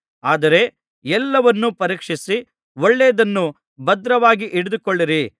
ಆದರೆ ಎಲ್ಲವನ್ನೂ ಪರೀಕ್ಷಿಸಿ ಒಳ್ಳೆಯದನ್ನೇ ಭದ್ರವಾಗಿ ಹಿಡಿದುಕೊಳ್ಳಿರಿ